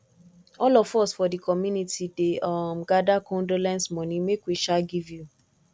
all of us for di community dey um gada condolence moni make we um give you